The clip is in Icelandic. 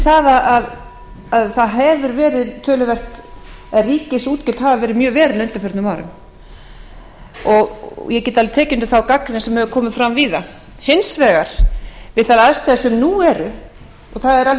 það að ríkisútgjöld hafa verið mjög veruleg á undanförnum árum ég get alveg tekið undir þá gagnrýni sem hefur tekið fram víða hins vegar við þær aðstæður sem nú eru og það er alveg rétt